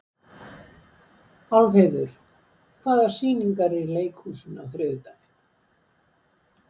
Álfheiður, hvaða sýningar eru í leikhúsinu á þriðjudaginn?